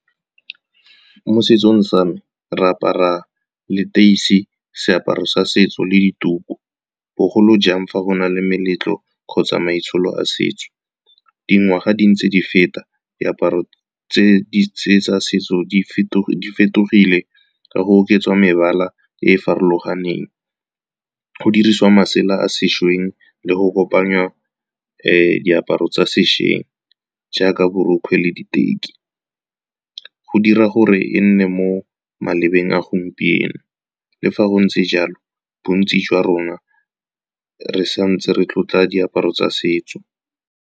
Mo setsong sa me, re apara leteisi, seaparo sa setso le dituku. Bogolo jang fa go na le meletlo kgotsa maitsholo a setso, dingwaga di ntse di feta, diaparo tse tsa setso di fetogile ka go oketsa mebala e e farologaneng. Go dirisiwa masela a sešweng le go kopanya diaparo tsa sešweng jaaka borokgwe le diteki, go dira gore e nne mo malebeng a gompieno. Le fa go ntse jalo, bontsi jwa rona re santse re tlotla diaparo tsa setso.